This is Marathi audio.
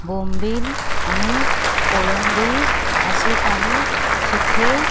बोंबील आणि कोळंबी असे काही सुखे--